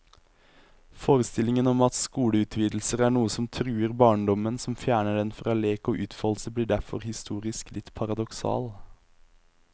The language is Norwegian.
Forestillingen om at skoleutvidelser er noe som truer barndommen, som fjerner den fra lek og utfoldelse, blir derfor historisk litt paradoksal.